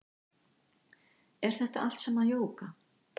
Er þetta allt saman jóga